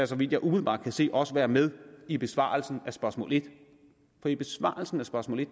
så vidt jeg umiddelbart kan se også være med i besvarelsen af spørgsmål en for i besvarelsen af spørgsmål en